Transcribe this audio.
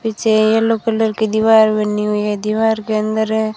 पिछे yellow colour की दीवार बनी हुई हैं दीवार के अंदर--